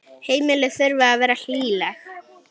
Heimili þurfa að vera hlýleg.